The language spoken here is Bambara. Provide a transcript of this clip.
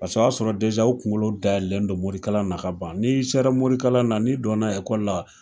Paseke o y'a sɔrɔ u kunkolo dayɛlɛlendon morikalan na, kaban, ni sera morikalan na, ni donna ekɔli la